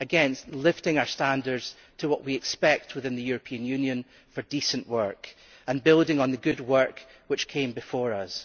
Again, this is about lifting our standards to what we expect within the European Union for decent work and building on the good work which came before us.